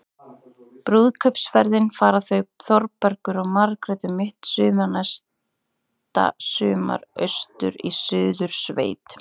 Brúðkaupsferðina fara þau Þórbergur og Margrét um mitt næsta sumar- austur í Suðursveit.